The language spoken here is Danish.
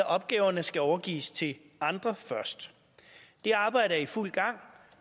opgaverne skal overgives til andre først det arbejde er i fuld gang